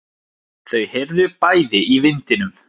Þau heyrðu bæði í vindinum.